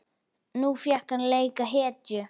Nú fékk hann að leika hetju.